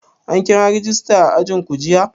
An kira rajista a ajinku jiya?